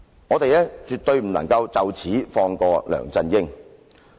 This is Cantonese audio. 我們絕不能就此放過梁振英。